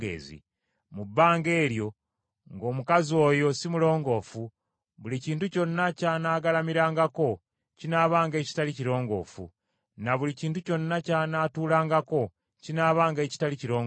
Mu bbanga eryo ng’omukazi oyo si mulongoofu buli kintu kyonna ky’anaagalamirangako kinaabanga ekitali kirongoofu, ne buli kintu kyonna ky’anaatuulangako kinaabanga ekitali kirongoofu.